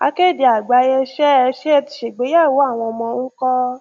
akéde àgbáyé ṣé ẹ ṣé ẹ ti ṣègbéyàwó àwọn ọmọ ń kọ́